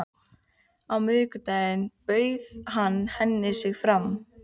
Á miðvikudaginn bauð hann henni sig fram.